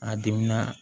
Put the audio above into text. A dimina